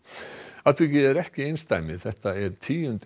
atvikið er ekki einsdæmi þetta er tíundi